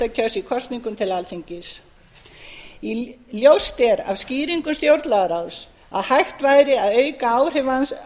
auk listakjörs í kosningum til alþingis ljóst er af skýringum stjórnlagaráðs að hægt væri að